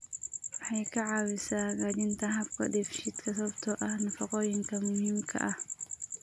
Waxay ka caawisaa hagaajinta habka dheefshiidka sababtoo ah nafaqooyinka muhiimka ah.